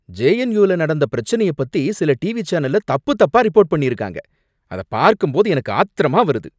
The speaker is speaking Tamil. ஜேஎன்யூவில நடந்த பிரச்சனைய பத்தி சில டிவி சேனல்ல தப்பு தப்பா ரிப்போர்ட் பண்ணிருக்காங்க, அத பார்க்கும்போது எனக்கு ஆத்திரமா வருது